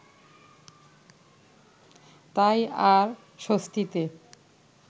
তাই আর স্বস্তিতে